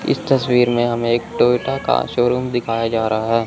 इस तस्वीर में हमें एक टोयटा का शोरूम दिखाया जा रहा--